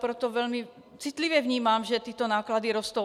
Proto velmi citlivě vnímám, že tyto náklady rostou.